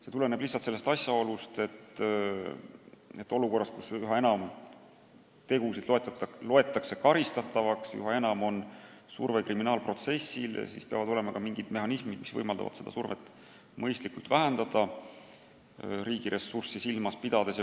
See tuleneb lihtsalt asjaolust, et olukorras, kus üha enam tegusid loetakse karistatavaks, on aina suurem surve kriminaalprotsessile ja siis peavad olema ka mingid mehhanismid, mis võimaldavad seda survet riigiressurssi silmas pidades mõistlikult vähendada.